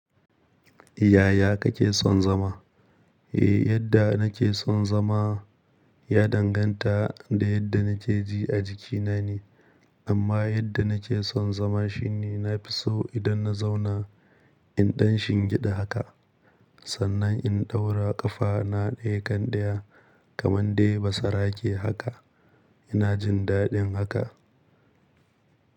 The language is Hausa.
Yaya kake son zama? Eh, yadda nake son zama ya danganta da yadda nake ji a jikina ne. Amma yadda nake son zama shine na fi so idan na zauna in ɗan shingida haka, sannan in ɗaura ƙafana ɗaya kan daya kamar dai basarake haka. Ina jin daɗin haka.